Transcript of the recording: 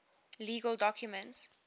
legal documents